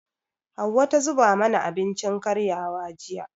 Hauwa ta zuba mana abincin karyawa, jiya.